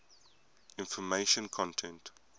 information content